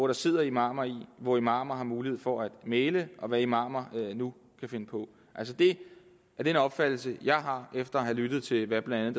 der sidder imamer i hvor imamer har mulighed for at mægle og hvad imamer nu kan finde på altså det er den opfattelse jeg har efter at have lyttet til hvad blandt